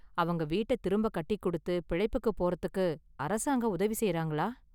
அவங்க வீட்ட திரும்ப​ கட்டி கொடுத்து பிழைப்புக்குப் போறதுக்கு அரசாங்கம் உதவி செய்றாங்களா?